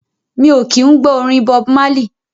Mi o kí ń gbọ́ orin Bob Marley.